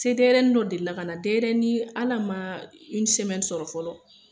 Se den yɛrɛni dɔ delila kana den yɛrɛnin al'a ma sɔrɔ fɔlɔ